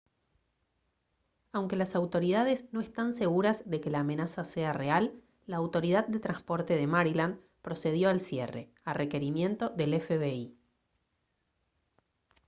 aunque las autoridades no están seguras de que la amenaza sea real la autoridad de transporte de maryland procedió al cierre a requerimiento del fbi